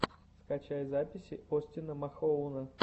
скачай записи остина махоуна